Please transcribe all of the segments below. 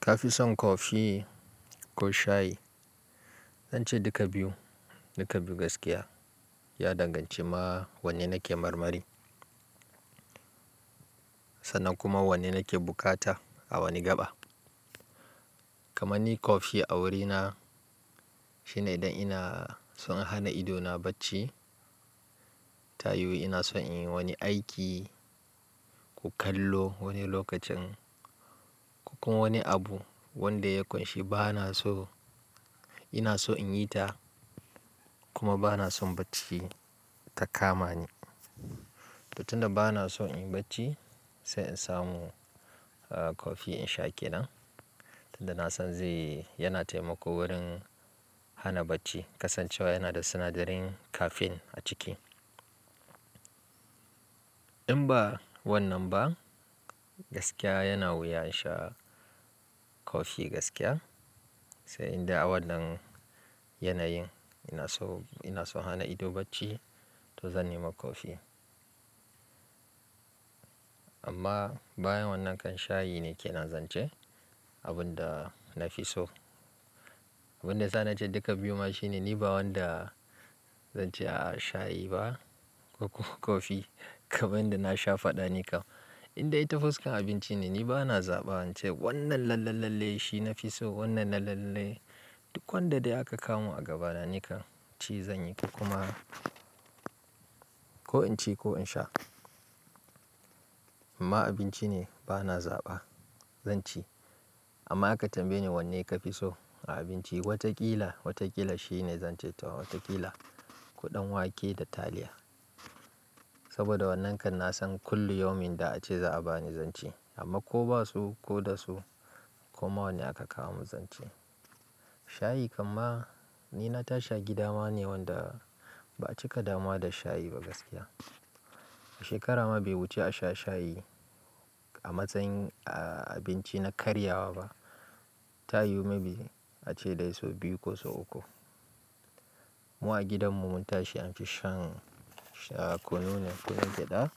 Kafi son coffee ko shayi? Zance duka biyu, duka biyu gaskiya ya danganci ma wanne nake marmari sannan kuma wanne nake bukata a wani gaba. Kaman ni coffee a wurina shine idan ina son hana ido na bacci, ta yiwu ina son in yi wani aiki ko kallo wani lokacin ko kuma wani abu wanda ya ƙunshi bana so ina so in yi ta kuma bana son bacci ta kama ni. To tun da bana son in yi bacci sai in samu aah coffee in sha ke nan tunda nasan zai yana taimako wurin hana bacci kasancewa yana da sinadarin caffeine a ciki. In ba wannan ba gaskiya yana wuya in sha coffee gaskiya sai inda a wannan yanayin ina so ina so hana ido bacci to zan nema coffee. Amma bayan wannan kan shayi ne kenan zance abun da na fi so. Abunda yasa na ce duka biyu ma shine ni ba wanda Zance a'a shayi ba ko kuma coffee kaman yanda na sha fada ni kam indai ta fuskan abinci ni bana zaba ince wannan lalle lalle shi nafi so wannan lalle lalle duk wanda dai aka kawomin a gaba na ci zan yi ko kuma. Ko inci ko in sha. Amma abinci ne bana zaba zan ci amma aka tambaye ni wanne ka fi so a abinci wataƙila, wataƙila shine zan ce ta wataƙila kuɗan wake da taliya. Saboda wannan kam nasan kulli yaumin da ace za'a bani zan ci, amma ko ba su ko da su koma wane aka kawo min zan ci Shayi kamma ni na tashi gida ma ne wanda ba a cika damuwa da shayi ba gaskiya. A shekara ma bai wuce a sha shayi a matsayin aah abinci na karyawa ba. Ta yiwu maybe ace dai so biyu ko so uku. Mu a gidanmu mun tashi an fi shan kunu ne kunun gyada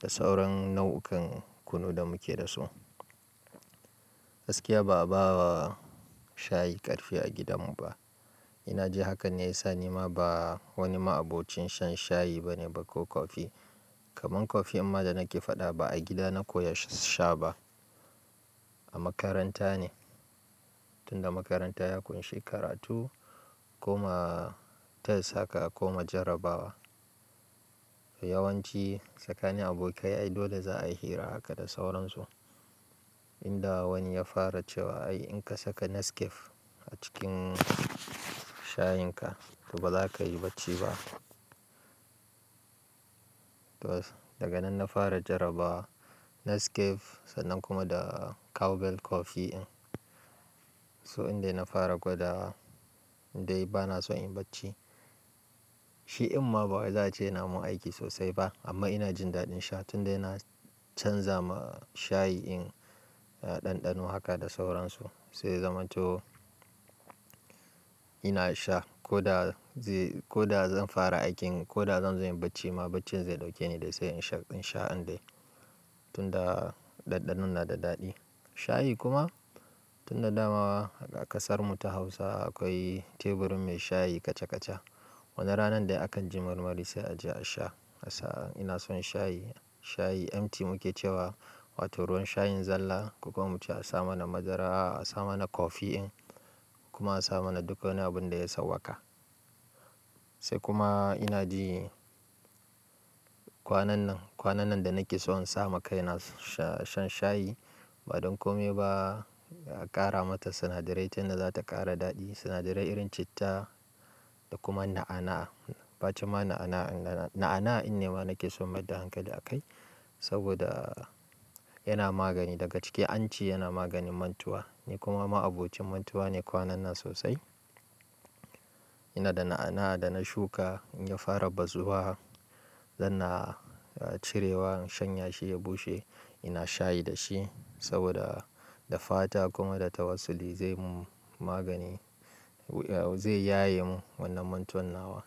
da sauran nau'ukan kunu da muke da su. Gaskiya ba'a ba wa shayi ƙarfi a gidanmu ba. Ina ji hakan ne yasa ni ma ba wani ma abokin shan shayi bane ba ko coffee. Kaman coffee ma da nake faɗa ba a gida na koya sha sha ba a makaranta ne. Tunda makaranta ya ƙunshi karatu kuma test haka kuma jarrabawa. Yawanci tsakanin abokai ai dole za'a yi hira haka da sauran su. Inda wani ya fara cewa ai in ka saka Nescafe a cikin shayin ka to ba za ka yi bacci ba. To daga nan na fara jarraba Nescafe sannan kuma da Cowbell coffee in. So inda na fara gwada indai bana son in yi bacci. Shi dinma bawai za'a ce ya na mun aiki sosai ba amma ina jin daɗin sha tunda yana canza ma shayi in ɗanɗano haka da sauran su. Sai zamanto ina sha ko da zai ko da zan fara aikin ko da zan zo yin bacci ma baccin zai ɗauke ni dai sai in sha in sha indai tunda ɗanɗanon na da daɗi. Shayi kuma tunda dama a ƙasar mu ta Hausa akwai tebur mai shayi kaca kaca. Wani ranan da aka ji marmari sai a je a sha. A saa ina son shayi, shayi empty muke cewa wato ruwan shayin zalla kuma mu ce a sa mana madara a sa mana coffee in kuma a sa mana duka wani abun da ya sauwaka. Sai kuma ina ji kwanan nan, kwanan nan da nake so in sama kai na sha shan shayi ba don kome ba a ƙara mata sinadarai tun da za ta ƙara daɗi sinadarai irin citta da kuma na'ana'a bancin ma na'ana'a na'ana'a in ne ma nake so mayard hankali a kai saboda yana magani daga ciki an ce yana maganin mantuwa. Ni kuma ma'abucin mantuwa ne kwanan nan sosai. Ina da na'ana'a da na shuka in ya fara bazuwa zan na cirewa in shanye shi ya bushe ina shayi da shi saboda da fata kuma da tawassuli zai mun magani zai yaye mun wannan mantuwan nawa.